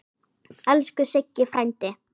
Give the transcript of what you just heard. Elsku Siggi frændi.